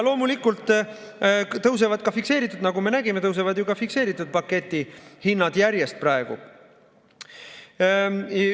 Loomulikult tõusevad, nagu me nägime, ka fikseeritud pakettide hinnad praegu järjest.